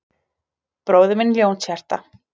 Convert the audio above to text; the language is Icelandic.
Bróðir minn Ljónshjarta